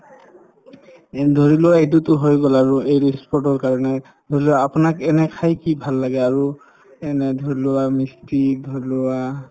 এই ধৰিলোৱা এইটোতো হৈ গল আৰু ই sport ৰ কাৰণে ধৰিলোৱা আপোনাক এনে খাই কি ভাল লাগে আৰু এনে ধৰিলোৱা misty ক ধৰিলোৱা